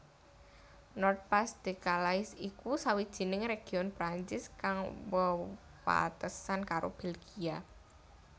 Nord Pas de Calais iku sawijining région Prancis kang wewatesan karo Belgia